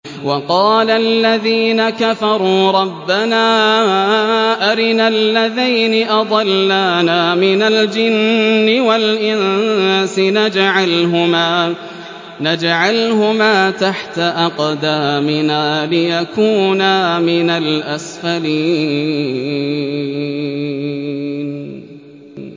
وَقَالَ الَّذِينَ كَفَرُوا رَبَّنَا أَرِنَا اللَّذَيْنِ أَضَلَّانَا مِنَ الْجِنِّ وَالْإِنسِ نَجْعَلْهُمَا تَحْتَ أَقْدَامِنَا لِيَكُونَا مِنَ الْأَسْفَلِينَ